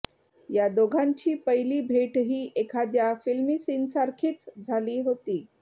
या दोघांची पहिली भेटही एखाद्या फिल्मी सीनसारखीच झाली होती